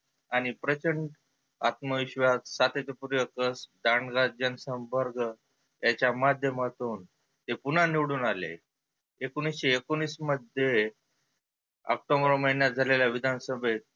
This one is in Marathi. आणि प्रचंड आत्म विश्वास सातत्य पूर्ण जाणार्या संपर्क त्याच्या माध्यमातुन ते पुन्हा निवडुन आले. एकोनिसशे एकोनिस मध्ये ऑक्टोबर महिण्यात झालेल्या विधान सभेत